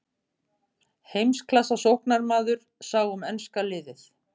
Heimsklassa sóknarmaður sá um enska liðið.